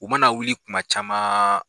U mana wuli kuma camaaan.